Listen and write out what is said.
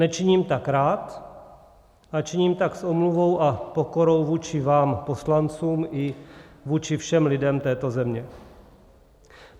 Nečiním tak rád, ale činím tak s omluvou a pokorou vůči vám poslancům i vůči všem lidem této země.